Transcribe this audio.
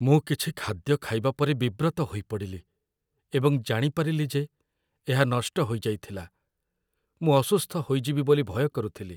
ମୁଁ କିଛି ଖାଦ୍ୟ ଖାଇବା ପରେ ବିବ୍ରତ ହୋଇପଡ଼ିଲି ଏବଂ ଜାଣିପାରିଲି ଯେ ଏହା ନଷ୍ଟ ହୋଇଯାଇଥିଲା। ମୁଁ ଅସୁସ୍ଥ ହୋଇଯିବି ବୋଲି ଭୟ କରୁଥିଲି।